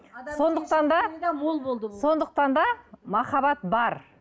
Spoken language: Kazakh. сондықтан да мол болды сондықтан да махаббат бар